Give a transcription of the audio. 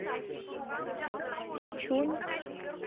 ичунь